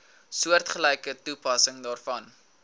soortgelyke toepassing daarvoor